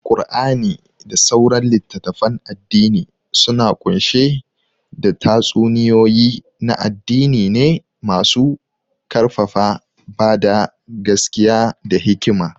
Qur'ani da sauran litattafan addini suna kunshe da tatsuniyoyi na addini ne masu karfafa bada gaskiya da hikima.